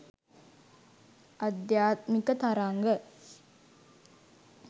ආධ්‍යාත්මික තරංග